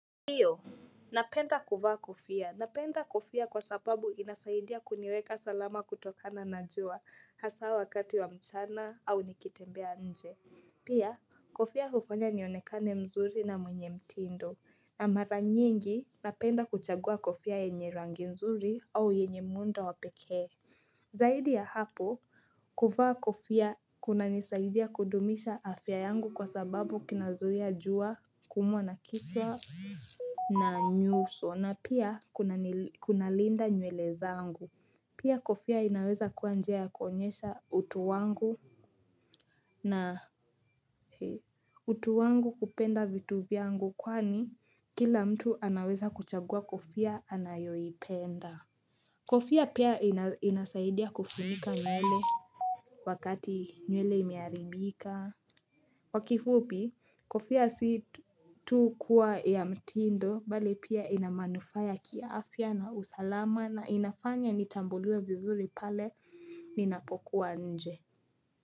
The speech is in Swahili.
Ndiyo napenda kuvaa kofia. Napenda kofia kwa sababu inasaidia kuniweka salama kutokana na jua hasa wakati wa mchana au nikitembea nje. Pia, kofia hufanya nionekane mzuri na mwenye mtindo. Na mara nyingi napenda kuchagua kofia yenye rangi nzuri au yenye muundo wa pekee. Zaidi ya hapo, kuvaa kofia kunanisaidia kudumisha afya yangu kwa sababu kinazuia jua, kuumwa na kichwa. Na nyuso na pia kuna linda nywele zangu Pia kofia inaweza kuwa njia kuonyesha utu wangu na utu wangu kupenda vitu vyangu Kwani kila mtu anaweza kuchagua kofia anayoipenda Kofia pia inasaidia kufunika nywele wakati nywele imeharibika kwa kifupi, kofia si tu kuwa ya mtindo, bali pia inamanufaa ya kiafya na usalama na inafanya nitambuliwe vizuri pale ninapokuwa nje.